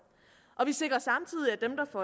vi sikrer samtidig